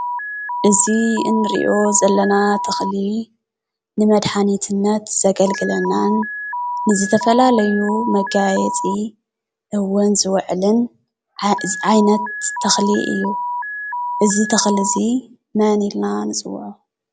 እዚ እንሪኦ ዘለና ተኽሊ ንመድሓኒትነት ዘገልግለናን ንዝተፈላለዩ መጋየፂ እውን ዝውዕልን ዓይነት ተኽሊ እዩ፡፡ እዚ ተኽሊ እዚ መን ኢልና ንፅውዖ?